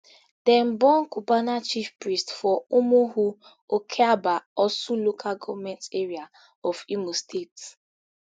dem born cubana chief priest for umuhu okabia orsu local government area of imo state